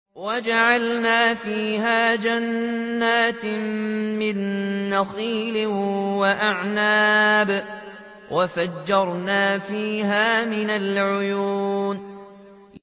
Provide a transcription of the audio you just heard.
وَجَعَلْنَا فِيهَا جَنَّاتٍ مِّن نَّخِيلٍ وَأَعْنَابٍ وَفَجَّرْنَا فِيهَا مِنَ الْعُيُونِ